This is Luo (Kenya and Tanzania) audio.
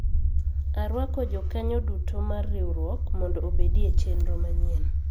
arwako jokanyo duto mar riwruok mondo obedi e chenro manyien